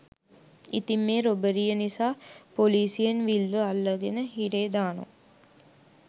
ඉතිං මේ රොබරිය නිසා පොලිසියෙන් විල්ව අල්ලගෙන හිරේ දානවා